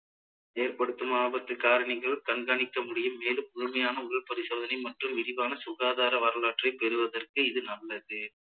ஏற்படுத்தும் ஆபத்து காரணிகள் கண்காணிக்க முடியும் மேலும் முழுமையான உடல் பரிசோதனை மற்றும் விரிவான சுகாதார வரலாற்றை பெறுவதற்கு இது நல்லது